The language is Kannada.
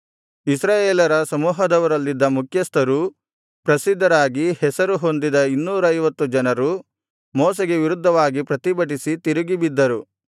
ಇಸ್ರಾಯೇಲರ ಸಮೂಹದವರಲ್ಲಿದ್ದ ಮುಖ್ಯಸ್ಥರೂ ಪ್ರಸಿದ್ಧರಾಗಿ ಹೆಸರು ಹೊಂದಿದ ಇನ್ನೂರೈವತ್ತು ಜನರು ಮೋಶೆಗೆ ವಿರುದ್ಧವಾಗಿ ಪ್ರತಿಭಟಿಸಿ ತಿರುಗಿಬಿದ್ದರು